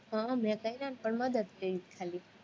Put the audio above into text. હહહ મેં કર્યા ને પણ મદદ કરી ખાલી